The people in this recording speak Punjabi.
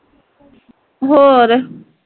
ਹੋਰ